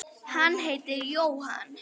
Hann heitir Jóhann